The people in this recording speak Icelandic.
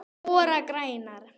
ORA grænar